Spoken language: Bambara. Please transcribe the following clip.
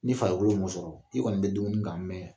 Ni farikolo m'o sɔrɔ, i kɔni be dumuni kan